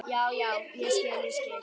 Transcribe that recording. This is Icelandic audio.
Já, já, ég skil, ég skil.